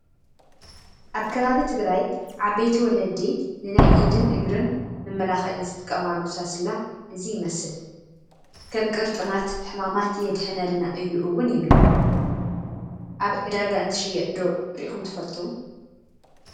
ኣብ ከባቢ ትግራይ ዓበይቲ ወለዲ ንናይ ኢድን እግርን መመላኽዒ ዝጥቀማሉ ሳስላ እዚ ይመስል፡፡ ከም ቅርጥማት ሕማማት የድሕነልና እዩ ውን ይብላ፡፡ ኣብ ዕዳጋ እንትሽየጥ ዶ ሪኢኹም ትፈልጡ?